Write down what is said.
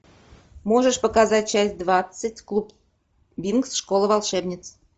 можешь показать часть двадцать клуб винкс школа волшебниц